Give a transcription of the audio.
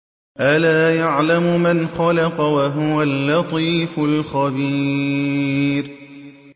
أَلَا يَعْلَمُ مَنْ خَلَقَ وَهُوَ اللَّطِيفُ الْخَبِيرُ